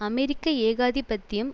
அமெரிக்க ஏகாதிபத்தியம்